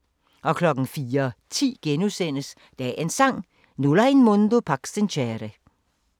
04:10: Dagens Sang: Nulla in mundo pax sincere *